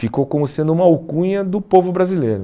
Ficou como sendo uma alcunha do povo brasileiro.